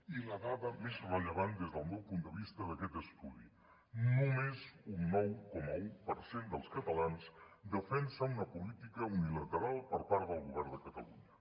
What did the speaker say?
i la dada més rellevant des del meu punt de vista d’aquest estudi només un nou coma un per cent dels catalans defensa una política unilateral per part del govern de catalunya